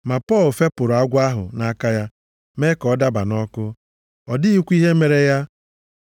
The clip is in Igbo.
Ma Pọl fepụrụ agwọ ahụ nʼaka ya, mee ka ọ daba nʼọkụ, ọ dịghịkwa ihe mere ya.